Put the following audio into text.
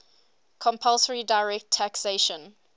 compulsory direct taxation